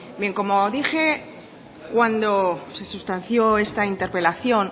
bien como dije cuando se sustanció esta interpelación